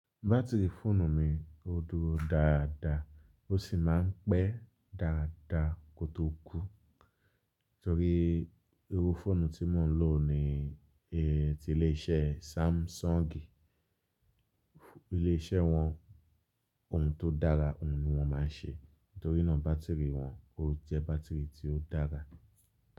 Batiri fóònù mi ó dúró dáadáa, ó sì máa ń pẹ́ dáadáa kó tó kú. Nítorí irú fóònù tí mò ń lò ni e e ti ilé iṣẹ́ Samsungi, ilé iṣẹ́ wọn ohun tó dára ǹ wọn máa ń ṣe. Nítorínà bátìrì wọn ó jẹ́ bátìrì tí ó dára.